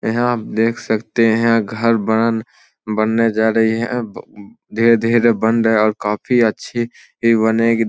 यहाँ आप देख सकते हैं घर बनल बनने जा रही है ब धीरे-धीरे बन रहा है और काफी अच्छी ही बनेगी द --